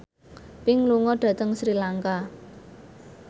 Pink lunga dhateng Sri Lanka